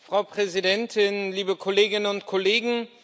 Frau Präsidentin, liebe Kolleginnen und Kollegen!